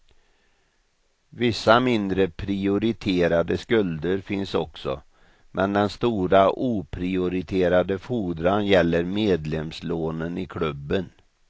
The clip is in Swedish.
Vissa mindre prioriterade skulder finns också men den stora oprioriterade fordran gäller medlemslånen i klubben.